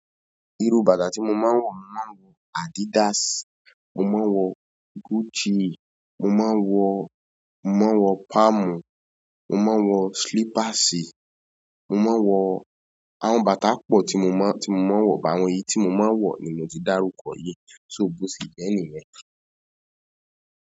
Irú bàtà tí mo máa ń wọ̀, mo máa ń wọ Adidas, mo máa ń wọ Gucci, mo máa ń wọ, mo máa ń wọ Palm, mo máa ń wọ slippers, mo máa ń wọ àwọn bàtà pọ̀ tí mo máa, tí mo máa ń wọ̀, but àwọn èyí tí mo máa ń wọ̀ nì mo ti dárúkọ yìí, só bò se jẹ́ nìyen.